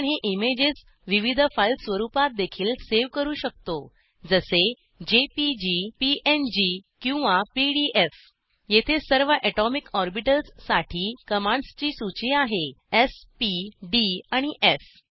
आपण हे इमेजेस विविध फाईल स्वरुपातदेखील सेव्ह करू शकतो जसे जेपीजी पीएनजी किंवा पीडीएफ येथे सर्व अटॉमिक ऑर्बिटल्स साठी कमांडस् ची सूची आहे स् पी डी आणि एफ